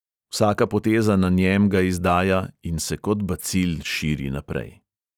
Vsaka poteza na njem ga izdaja in se kot bacil širi naprej.